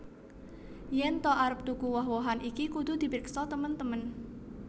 Yèn ta arep tuku woh wohan iki kudu dipriksa temen temen